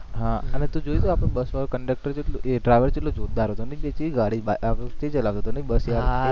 હા અને તુ જોયુ હતુ આપણે બસ વાળુ કંડકટર કેટલુ driver કેટલુ જોરદાર હતો નહી કેટલી ગાડી સ્થિર ચલાવતો હતો બસ નહી